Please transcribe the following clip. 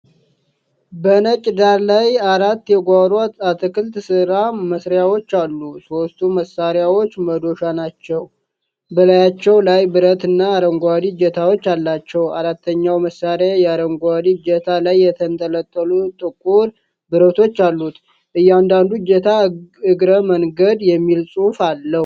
በነጭ ዳራ ላይ አራት የጓሮ አትክልት ሥራ መሳሪያዎች አሉ። ሦስቱ መሳሪያዎች መዶሻ ናቸው። በላያቸው ላይ ብረትና አረንጓዴ እጀታዎች አላቸው። አራተኛው መሳሪያ በአረንጓዴ እጀታ ላይ የተንጠለጠሉ ጥቁር ብረቶች አሉት። እያንዳንዱ እጀታ “እግረ መነገድ” የሚል ጽሑፍ አለው።